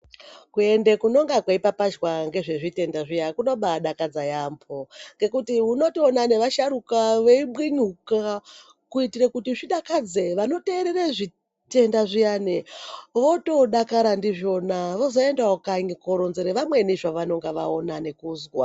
Kuenda kunenga kunopapazhwa ngezve zvitenda zviya kuno mbaidakadza yambo ngekuti unotoina nevasharuka veibinyuka kuitira kuti zvidakadze vanoterera zvitenda zviyani votodakara ndizvona voende kanyi kunoronzera vamwe zvavanenge vaona nekuzwa